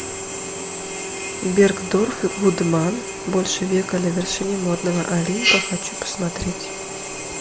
бергдорф гудман больше века на вершине модного олимпа хочу посмотреть